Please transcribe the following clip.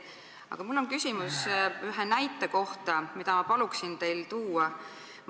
Aga mul on küsimus ühe näite kohta maailmast, mida ma palun teil tuua.